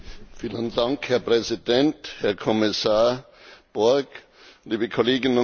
Herr Präsident, Herr Kommissar Borg, liebe Kolleginnen und Kollegen!